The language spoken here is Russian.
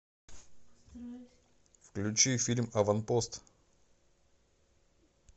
включи фильм аванпост